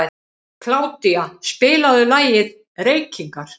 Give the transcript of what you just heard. Kládía, spilaðu lagið „Reykingar“.